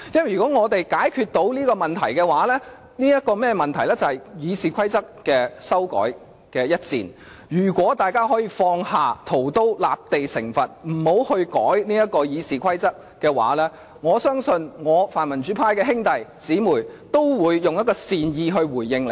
如果在修改《議事規則》這一戰上，我們可以解決這個問題；如果大家可以放下屠刀，立地成佛，不修改《議事規則》的話，我相信泛民主派的兄弟姊妹會善意回應你們。